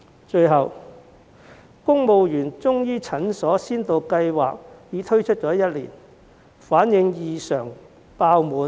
最後，公務員中醫診所先導計劃已推出1年，結果異常爆滿。